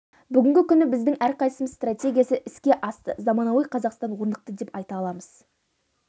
бүгінгі күні біздің әрқайсымыз стратегиясы іске асты заманауи қазақстан орнықты деп айта аламыз